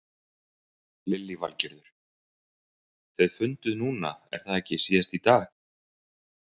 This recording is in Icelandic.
Lillý Valgerður: Þið funduð núna er það ekki síðast í dag?